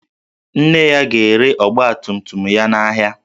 Nne ya ga-ere ọgbatumtum ya n'ahịa